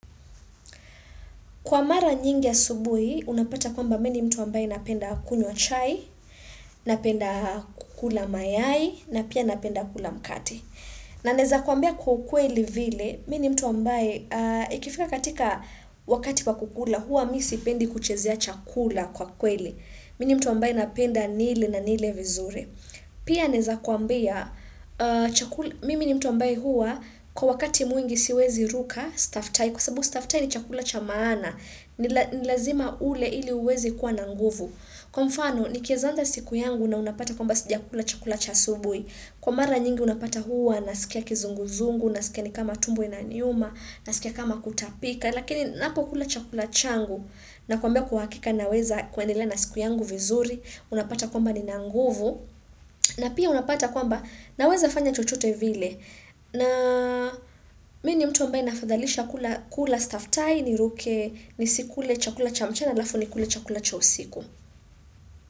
Kwa mara nyingi ya asubuhi, unapata kwamba mimi ni mtu ambaye napenda kunywa chai, napenda kukula mayai, na pia napenda kukula mkate. Na naweza kuambia kwa ukweli vile, mimi ni mtu ambaye ikifika katika wakati kwa kukula, huwa mimi sipendi kuchezea chakula kwa kwa kweli. Mimi ni mtu ambaye napenda nile na nile vizuri. Pia naweza kuambia, mimi ni mtu ambaye huwa, kwa wakati mwingi siwezi ruka, staftai, kwa sababu staftai ni chakula cha maana, ni lazima ule ili uweze kuwa na nguvu. Kwa mfano, nikiweza anza siku yangu na unapata kwamba sijakula chakula cha asubuhi. Kwa mara nyingi unapata huwa, nasikia kizunguzungu, nasikia ni kama tumbo inaniuma, nasikia kama kutapika, lakini ninapokula chakula changu, nakwambia kwa hakika naweza kuendelea na siku yangu vizuri, unapata kwamba nina nguvu, na pia unapata kwamba naweza fanya chochote vile, na mimi ni mtu ambaye nafadhalisha kula staftahi, niruke, nisikule chakula cha mchana, alafu nikule cha usiku.